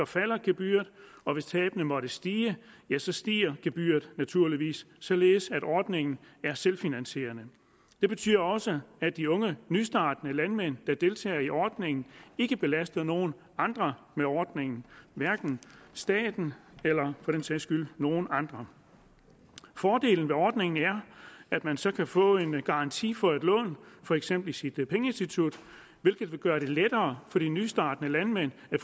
falder gebyret og hvis tabene måtte stige ja så stiger gebyret naturligvis således at ordningen er selvfinansierende det betyder også at de unge nystartende landmænd der deltager i ordningen ikke belaster nogen andre med ordningen hverken staten eller for den sags skyld nogen andre fordelen ved ordningen er at man så kan få en garanti for et lån for eksempel i sit pengeinstitut hvilket vil gøre det lettere for de nystartende landmænd at